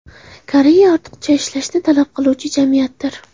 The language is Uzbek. Koreya ortiqcha ishlashni talab qiluvchi jamiyatdir.